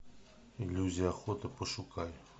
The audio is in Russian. иллюзия охоты пошукай